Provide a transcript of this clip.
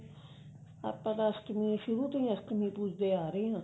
ਆਪਾਂ ਤਾਂ ਅਸ਼ਟਮੀ ਸ਼ੁਰੂ ਤੋਂ ਹੀ ਅਸ਼ਟਮੀ ਪੁਜਦੇ ਆ ਰਹੇ ਹਾਂ